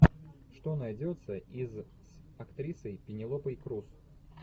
что найдется из с актрисой пенелопой крус